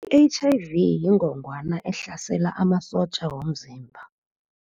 I-H_I_V yingongwana ehlasela amasotja womzimba.